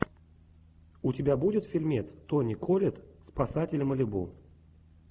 у тебя будет фильмец тони коллетт спасатели малибу